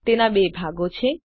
તેના બે ભાગો છે